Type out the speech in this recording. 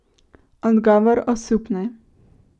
Odgovor osupne ...